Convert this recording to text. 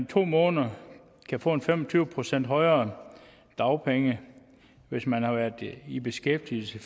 to måneder kan få en fem og tyve procent højere dagpengesats hvis man har været i beskæftigelse i